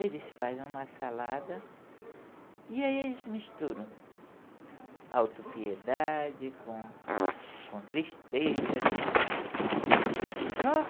Eles fazem uma salada e aí eles misturam autopiedade com com tristeza. Só